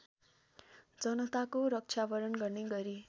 जनताको रक्षावरण गर्ने गरी